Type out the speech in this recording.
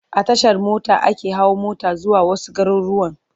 A Tashar mota ake hawa mota zuwa wasu garurruwan.